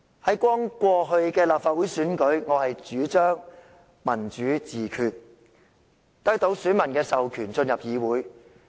在剛過去的立法會選舉，我主張"民主自決"，得到選民的授權，進入議會。